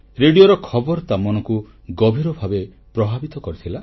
ରେଡ଼ିଓର ଖବର ତା ମନକୁ ଗଭୀର ଭାବେ ପ୍ରଭାବିତ କରିଥିଲା